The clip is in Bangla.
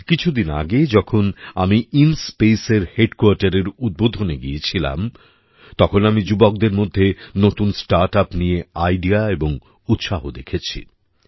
কিছুদিন আগে যখন আমি ইনস্পেস এর হেডকোয়ার্টারএর উদ্বোধনে গিয়েছিলাম তখন আমি যুবকদের মধ্যে নতুন স্টার্টআপ নিয়ে আইডিয়া এবং উৎসাহ দেখেছি